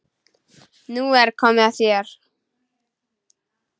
Nú er komið að þér.